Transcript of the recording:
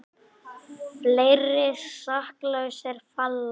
Fleiri saklausir falla